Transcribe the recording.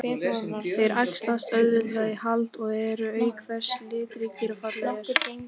Þeir æxlast auðveldlega í haldi og eru auk þess litríkir og fallegir.